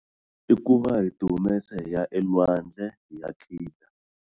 I ku va hi tihumesa hi ya elwandle hi ya khida.